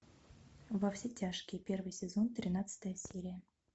во все тяжкие первый сезон тринадцатая серия